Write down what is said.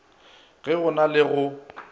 ge go na le go